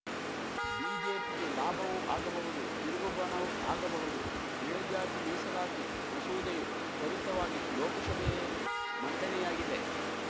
ಬಿಜೆಪಿಗೆ ಲಾಭವೂ ಆಗಬಹುದು ತಿರುಗು ಬಾಣವೂ ಆಗಬಹುದು ಮೇಲ್ಜಾತಿ ಮೀಸಲಾತಿ ಮಸೂದೆಯು ತ್ವರಿತವಾಗಿ ಲೋಕಶಭೆಯಲ್ಲಿ ಮಂಡನೆಯಾಗಿದೆ